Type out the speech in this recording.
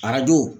Arajo